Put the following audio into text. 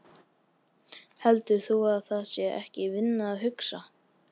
Heldur þú að það sé ekki vinna að hugsa?